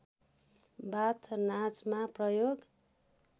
बाथ नाचमा प्रयोग